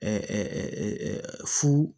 fu